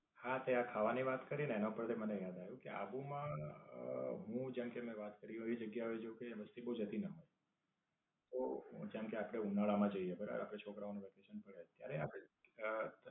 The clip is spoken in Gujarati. હા તે આ ખાવાની વાત કરી ને તેના ઉપર થી મને યાદ આવ્યું કે આબુ માં અમ હું જેમકે મેં વાત કરી એવી જગ્યા એ જવું કે ત્યાં વસ્તી બોવ જતી ના હોય. તો, હું જેમકે આપડે ઉનાળા માં જઇયે બરાબર આપડે છોકરાઓના વેકેશન પડે ત્યારે આપડે અમ